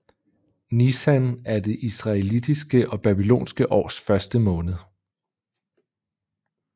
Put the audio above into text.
Nisan er det israelitiske og babylonske års første måned